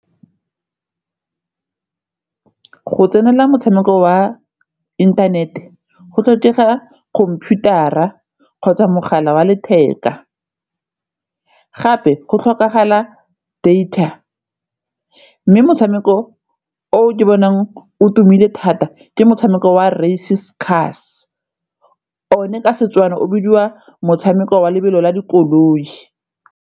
Go tsenela motshameko wa inthanete go tlhokega computer-ra kgotsa mogala wa letheka gape go tlhokagala data mme motshameko o ke bonang o tumile thata ke motshameko wa races cars, one ka Setswana o bidiwa motshameko wa lebelo la dikoloi.